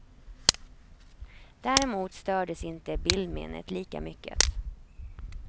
Däremot stördes inte bildminnet lika mycket.